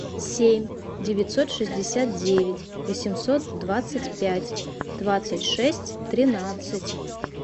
семь девятьсот шестьдесят девять восемьсот двадцать пять двадцать шесть тринадцать